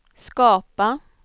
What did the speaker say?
skapa